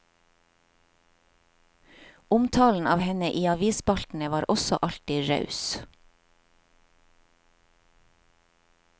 Omtalen av henne i avisspaltene var også alltid raus.